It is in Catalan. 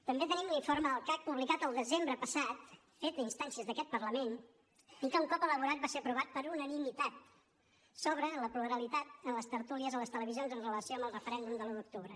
també tenim l’informe del cac publicat el desembre passat fet a instàncies d’aquest parlament i que un cop elaborat va ser aprovat per unanimitat sobre la pluralitat en les tertúlies a les televisions en relació amb el referèndum de l’un d’octubre